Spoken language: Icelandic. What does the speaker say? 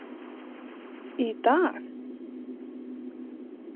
Í dag?